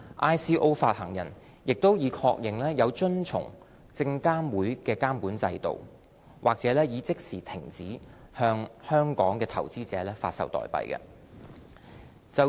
ICO 發行人亦已確認有遵從證監會的監管制度，或已即時停止向香港投資者發售代幣。